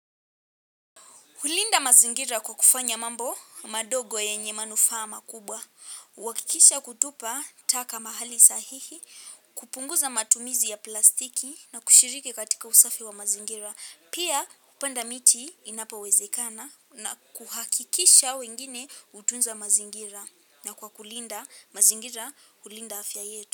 Hulinda mazingira kwa kufanya mambo madogo yenye manufama kubwa. Huhakikisha kutupa taka mahali sahihi, kupunguza matumizi ya plastiki na kushiriki katika usafi wa mazingira. Pia hupanda miti inapowezekana na kuhakikisha wengine hutunza mazingira na kwa kulinda mazingira hulinda afya yetu.